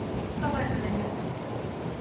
Þá fæ ég mér vinnu!